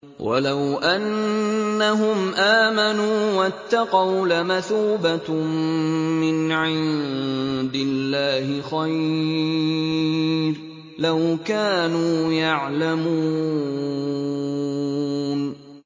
وَلَوْ أَنَّهُمْ آمَنُوا وَاتَّقَوْا لَمَثُوبَةٌ مِّنْ عِندِ اللَّهِ خَيْرٌ ۖ لَّوْ كَانُوا يَعْلَمُونَ